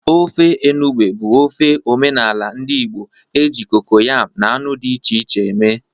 Ofe enugbe bụ ofe omenala ndị Igbo e ji kokoyam na anụ dị iche iche eme.